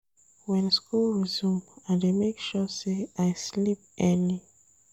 Wen school resume, I dey make sure sey I sleep early.